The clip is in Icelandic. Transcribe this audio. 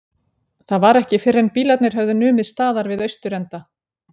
Það var ekki fyrren bílarnir höfðu numið staðar við austurenda